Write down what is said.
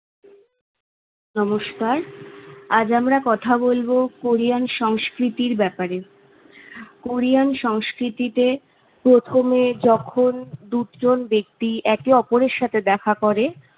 নমস্কার আজ আমরা কথা বলবো কোরিয়ান সংস্কৃতির ব্যপারে- কোরিয়ান সংস্কৃতিতে প্রথমে যখন দুজন ব্যক্তি একে অপরের সাথে দেখা করে